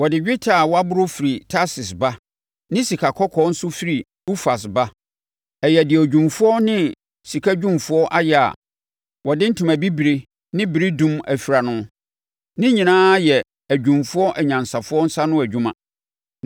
Wɔde dwetɛ a wɔaboro firi Tarsis ba ne sikakɔkɔɔ nso firi Ufas ba. Ɛyɛ deɛ odwumfoɔ ne sikadwumfoɔ ayɛ a wɔde ntoma bibire ne beredum afira no. Ne nyinaa yɛ adwumfoɔ anyansafoɔ nsa ano adwuma.